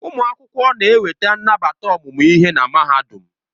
Ụmụ akwụkwọ na-enweta nnabata ọmụmụ ihe na Mahadum.